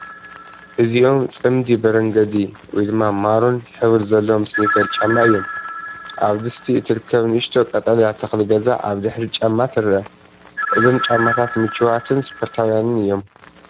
እዚኦም ጽምዲ በርገንዲ/ማሩን ሕብሪ ዘለዎም ስኒከር ጫማ እዮም። ኣብ ድስቲ እትርከብ ንእሽቶ ቀጠልያ ተኽሊ ገዛ ኣብ ድሕሪት ጫማ ትርአ። እዞም ጫማታት ምቹኣትን ስፖርታውያንን እዮም፡፡